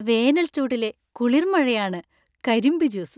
വേനൽച്ചൂടിലെ കുളിർമഴയാണ് കരിമ്പ് ജ്യൂസ്.